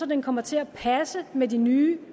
den kommer til at passe med de nye